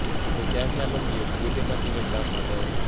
Pidho cham nyalo miyo puothe matindo cham maber